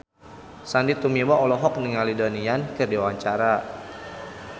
Sandy Tumiwa olohok ningali Donnie Yan keur diwawancara